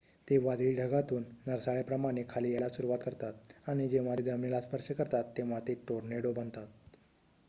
ते वादळी ढगातून नरसाळ्या प्रमाणे खाली यायला सुरुवात करतात आणि जेव्हा ते जमिनीला स्पर्श करतात तेव्हा ते टोर्नेडो' बनतात